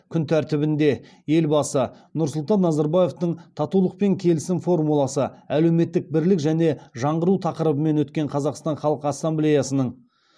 күн тәртібінде елбасы нұрсұлтан назарбаевтың татулық пен келісім формуласы әлеуметтік бірлік және жаңғыру тақырыбымен өткен қазақстан халқ ассамблеясының